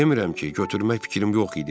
Demirəm ki, götürmək fikrim yox idi.